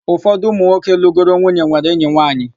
Ụfọdụ ụmụ nwoke lụgoro nwunye nwere enyi nwaanyị.